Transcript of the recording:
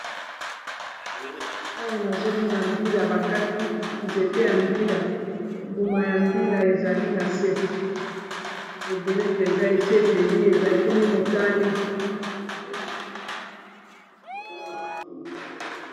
Awa nazomona mbila bakati nzete ya mbila mbuma ya mbila ezali na se ebele mpenza esi eteli eza ekomi motane.